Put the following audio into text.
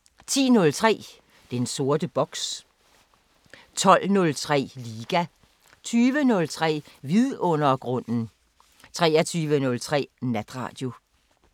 10:03: Den sorte boks 12:03: Liga 20:03: Vidundergrunden 23:03: Natradio